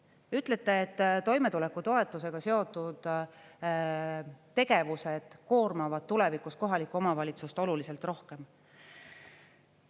Te ütlete, et toimetulekutoetusega seotud tegevused koormavad tulevikus kohalikku omavalitsust oluliselt rohkem.